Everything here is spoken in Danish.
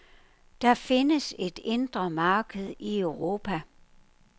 Der findes et indre marked i Europa.